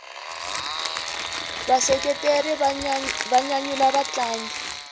vaseketeri va nyanyula vatlangi